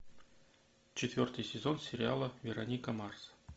четвертый сезон сериала вероника марс